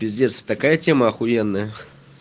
пиздец это такая тема ахуенная